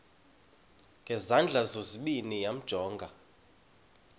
ngezandla zozibini yamjonga